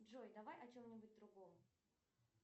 джой давай о чем нибудь другом